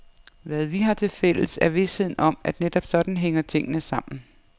Hvad vi har tilfælles, er visheden om, at netop sådan hænger tingene sammen.